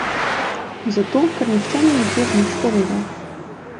Zato, ker nihče ni nikjer nič povedal.